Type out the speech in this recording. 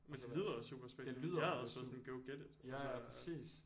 Men det lyder også super spændende jeg havde også været sådan go get it altså